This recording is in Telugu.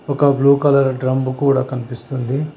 ఒక బ్లూ కలర్ డ్రంబు కూడా కనిపిస్తుంది.